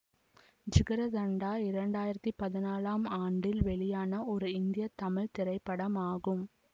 ஜிகர்தண்டா இரண்டாயிரத்தி பதினாலாம் ஆண்டில் வெளியான ஒரு இந்திய தமிழ் திரைப்படமாகும்